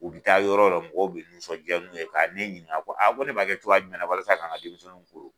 U bɛ taa yɔrɔ yɔrɔ mɔgɔw bɛ nisɔndiya n'u ye ka ne ɲininka ko a ko ne b'a kɛ cogoya jumɛn walasa kan ka denmisɛnninw koron